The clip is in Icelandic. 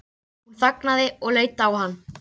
Hún þagnaði og leit á hann.